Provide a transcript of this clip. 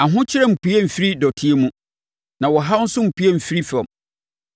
Ahokyere mmpue mfiri dɔteɛ mu na ɔhaw nso mmpue mfiri fam.